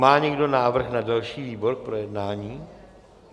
Má někdo návrh na další výbor k projednání?